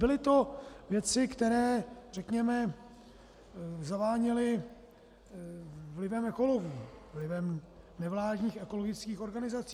Byly to věci, které, řekněme, zaváněly vlivem ekologů, vlivem nevládních ekologických organizací.